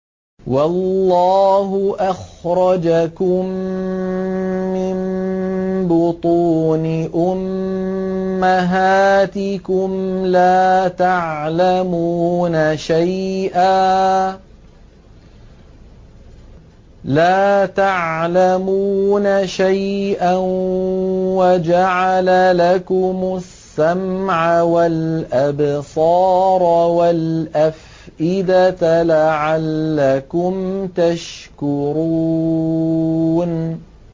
وَاللَّهُ أَخْرَجَكُم مِّن بُطُونِ أُمَّهَاتِكُمْ لَا تَعْلَمُونَ شَيْئًا وَجَعَلَ لَكُمُ السَّمْعَ وَالْأَبْصَارَ وَالْأَفْئِدَةَ ۙ لَعَلَّكُمْ تَشْكُرُونَ